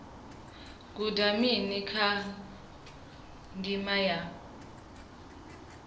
guda mini kha ndima ya